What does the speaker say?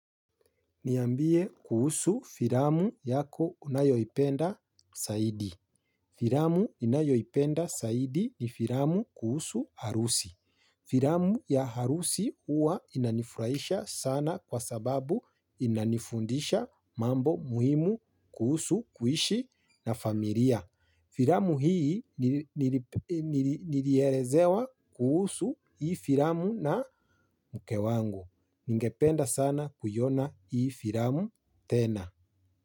Niambie kuhusu filamu yako unayoipenda zaidi. Filamu ninayoipenda zaidi ni filamu kuhusu harusi. Filamu ya harusi huwa inanifurahisha sana kwa sababu inanifundisha mambo muhimu kuhusu kuishi na familia. Filamu hii nilielezewa kuhusu hii filamu na mke wangu. Ningependa sana kuiona hii filamu tena.